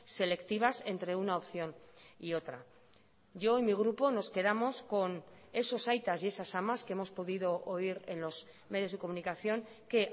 selectivas entre una opción y otra yo y mi grupo nos quedamos con esos aitas y esas amas que hemos podido oír en los medios de comunicación que